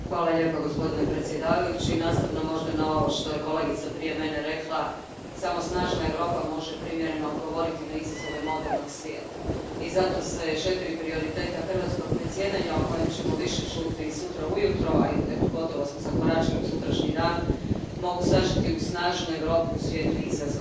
Poštovani predsjedavajući, nastavno možda na ovo što je kolegica prije mene rekla, samo snažna Europa može primjereno odgovoriti na izazove modernog svijeta i zato se četiri prioriteta hrvatskog predsjedanja, o kojima ćemo više čuti sutra ujutro, a gotovo smo zakoračili u sutrašnji dan, mogu sažeti u snažnu Europu u svijetu izazova.